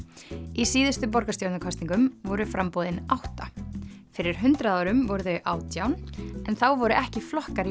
í síðustu borgarstjórnarkosningum voru framboðin átta fyrir hundrað árum voru þau átján en þá voru ekki flokkar í